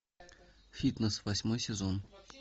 фитнес восьмой сезон